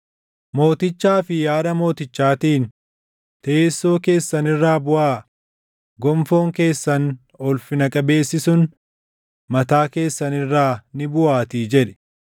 Mootichaa fi haadha mootichaatiin, “Teessoo keessan irraa buʼaa; gonfoon keessan ulfina qabeessi sun mataa keessan irraa ni buʼaatii” jedhi.